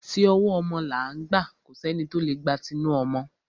Ti ọwọ́ ọmọ là ń gbà, kò sẹ́ni tí o lè gba tinu ọmọ.